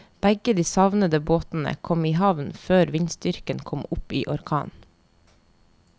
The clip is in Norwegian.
Begge de savnede båtene kom i havn før vindstyrken kom opp i orkan.